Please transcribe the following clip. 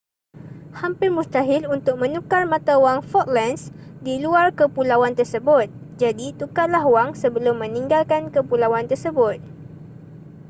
hampir mustahil untuk menukar mata wang falklands di luar kepulauan tersebut jadi tukarlah wang sebelum meninggalkan kepulauan tersebut